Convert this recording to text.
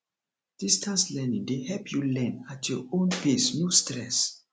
distance learning dey help you learn at your own pace no stress